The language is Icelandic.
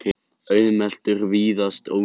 auðmeltur og víðast ódýr.